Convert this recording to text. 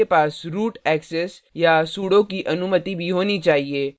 आपके पास root access या sudo की अनुमति भी होनी चाहिए